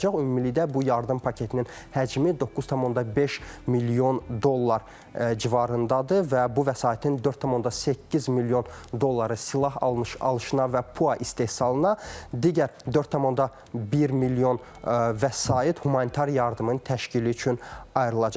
Ümumilikdə bu yardım paketinin həcmi 9,5 milyon dollar civarındadır və bu vəsaitin 4,8 milyon dolları silah alışına və PUA istehsalına, digər 4,1 milyon vəsait humanitar yardımın təşkili üçün ayrılacaq.